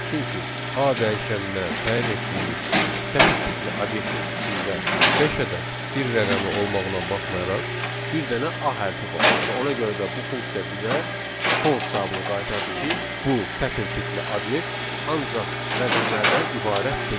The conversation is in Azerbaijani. Çünki A dəyişəninə təyin etdiyimiz sətir tipli obyektin içində beş ədəd bir rəqəmi olmasına baxmayaraq, bir dənə A hərfi var və ona görə də bu funksiya bizə false cavabını qaytardı ki, bu sətir tipli obyekt ancaq rəqəmlərdən ibarət deyil.